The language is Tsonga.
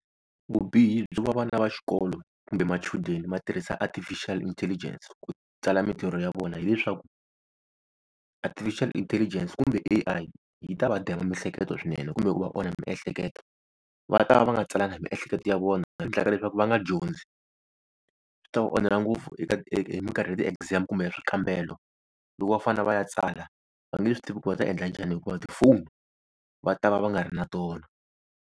Vubihi byo va vana va xikolo kumbe machudeni ma tirhisa artificial intelligence ku tsala mintirho ya vona, hileswaku artificial intelligence kumbe A_I yi ta va dema miehleketo swinene kumbe ku va onha miehleketo. Va ta va va nga tsalangi hi miehleketo ya vona leswi endlaka leswaku va nga dyondzi. Swi ta va onhela ngopfu hi minkarhi ya ti-exams kumbe ya swikambelo, loko va fanele va ya tsala va nge swi tivi ku va ta endla njhani hikuva tifoni va ta va va nga ri na tona.